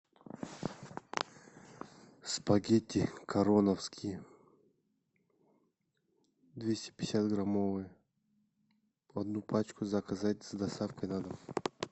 спагетти короновские двести пятьдесят граммовые одну пачку заказать с доставкой на дом